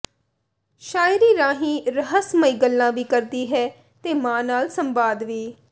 ਸ਼ਾਇਰੀ ਰਾਹੀਂ ਰਹੱਸਮਈ ਗੱਲਾਂ ਵੀ ਕਰਦੀ ਹੈ ਤੇ ਮਾਂ ਨਾਲ ਸੰਵਾਦ ਵੀ